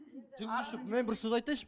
жүргізуші мен бір сөз айтайыншы